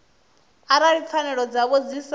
arali pfanelo dzavho dzi sa